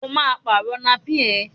O máa pàrọ̀ napí ẹ̀!